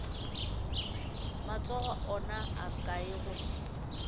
matsogo ona a kae gomme